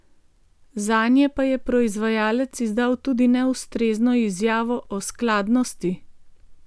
Zanje pa je proizvajalec izdal tudi neustrezno izjavo o skladnosti.